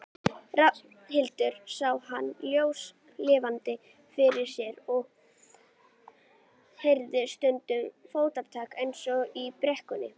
Frekara lesefni á Vísindavefnum Þróun almennt Af hverju eru til svona margar dýrategundir?